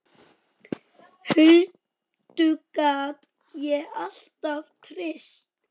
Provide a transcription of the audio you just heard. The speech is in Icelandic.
Huldu gat ég alltaf treyst.